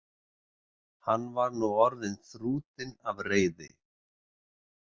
Hann var nú orðinn þrútinn af reiði.